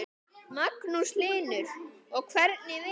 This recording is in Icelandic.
Magnús Hlynur: Og hvernig vinur?